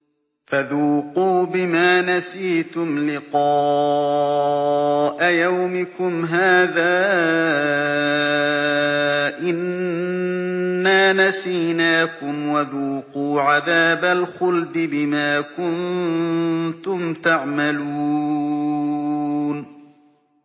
فَذُوقُوا بِمَا نَسِيتُمْ لِقَاءَ يَوْمِكُمْ هَٰذَا إِنَّا نَسِينَاكُمْ ۖ وَذُوقُوا عَذَابَ الْخُلْدِ بِمَا كُنتُمْ تَعْمَلُونَ